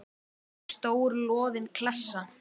Stór loðin klessa.